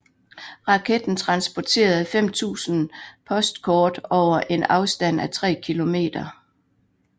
Raketten transporterede 5000 postkort over en afstand af tre kilometer